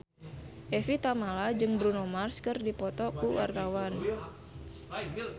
Evie Tamala jeung Bruno Mars keur dipoto ku wartawan